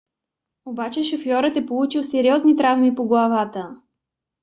обаче шофьорът е получил сериозни травми по главата